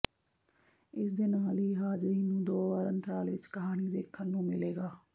ਇਸ ਦੇ ਨਾਲ ਹੀ ਹਾਜ਼ਰੀਨ ਨੂੰ ਦੋ ਵਾਰ ਅੰਤਰਾਲ ਵਿੱਚ ਕਹਾਣੀ ਦੇਖਣ ਨੂੰ ਮਿਲੇਗਾ